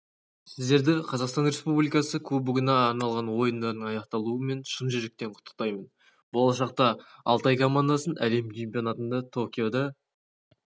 сіздерді қазақстан республикасы кубогына арналған ойындардың аяқталуымен шын жүректен құттықтаймын болашақта алтай командасын әлем чемпионатында токиода